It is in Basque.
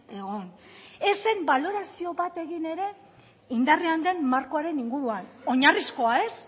egon ez zen balorazio bat egin ere indarrean den markoaren inguruan oinarrizkoa ez